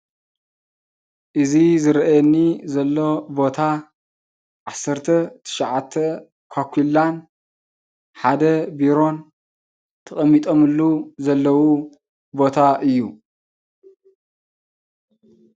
እዚ ዝረአየኒ ዘሎ ቦታ ዓሰርተ ትሻዓተ ኳኲላን ሓደ ቢሮን ተቀሚጦምሉ ዘለው ቦታ እዩ።